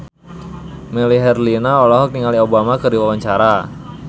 Melly Herlina olohok ningali Obama keur diwawancara